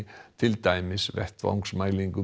til dæmis